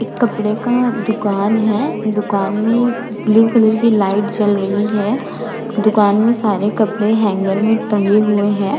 इक कपड़े का दुकान है। दुकान में ब्लू कलर की लाइट जल रही है। दुकान में सारे कपड़े हैंगर में टंगे हुए हैं।